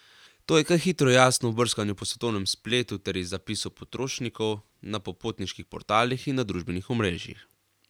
To je kaj hitro jasno ob brskanju po svetovnem spletu ter iz zapisov potrošnikov na popotniških portalih in družbenih omrežjih.